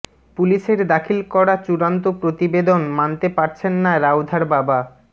পুলিশের দাখিল করা চূড়ান্ত প্রতিবেদন মানতে পারছেন না রাউধার বাবা